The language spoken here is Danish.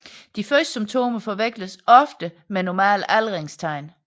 De første symptomer forveksles ofte med normale aldringstegn